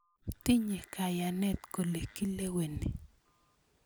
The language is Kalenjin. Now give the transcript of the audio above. Tinye kayanet kole kileweni.